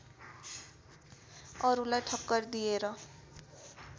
अरूलाई ठक्कर दिएर